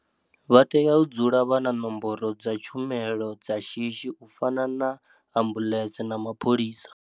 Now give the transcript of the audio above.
Vha tea u dzula vha na nomboro dza tshumelo dza shishi u fana na ambu ḽese na mapholisa.